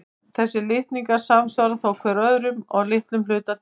Þessir litningar samsvara þó hvor öðrum að litlum hluta til.